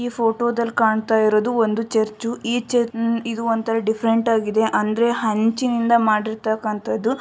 ಈ ಫೋಟೋದಲ್ಲಿ ಕಾಣ್ತಾ ಇರೋದು ಒಂದು ಚರ್ಚು ಈ ಚರ್ಚ್ ಇದು ಒಂಥರಾ ಡಿಫರೆಂಟ್ ಆಗಿದೆ ಅಂದ್ರೆ ಹಂಚಿನಿಂದ ಮಾಡಿರತಕಂತದು.